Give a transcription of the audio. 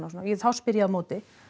þá spyr ég á móti